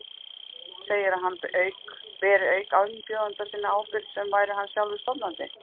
Segir að hann beri auk umbjóðanda síns ábyrgð sem væri hann sjálfur stofnandi.